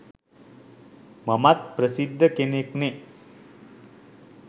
මමත් ප්‍රසිද්ධ කෙනෙක්නෙ